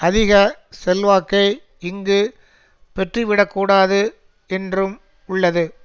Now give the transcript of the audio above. அதிக செல்வாக்கை இங்கு பெற்றுவிடக்கூடாது என்றும் உள்ளது